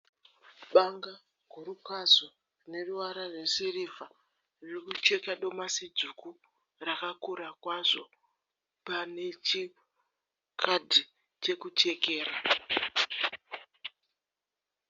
Banga guru kwazvo rineruvara rwesirivha ririkucheka domasi dzvuku rakakura kwazvo. Panechikadhi chekuchekera.